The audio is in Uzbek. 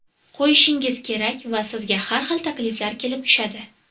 qo‘yishingiz kerak va sizga har xil takliflar kelib tushadi.